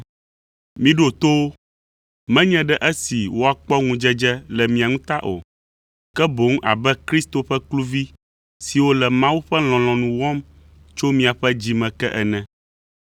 Miɖo to wo, menye ɖe esi woakpɔ ŋudzedze le mia ŋu ta o, ke boŋ abe Kristo ƒe kluvi siwo le Mawu ƒe lɔlɔ̃nu wɔm tso miaƒe dzime ke ene.